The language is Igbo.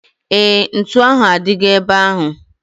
Éè, ntụ ahu adigo ebe ahu